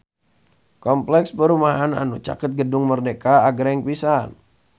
Kompleks perumahan anu caket Gedung Merdeka agreng pisan